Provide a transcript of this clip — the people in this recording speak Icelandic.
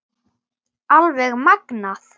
Alveg magnað!